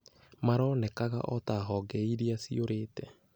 (maronekaga o ta honge iria ciũrĩte).